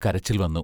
കരച്ചിൽ വന്നു.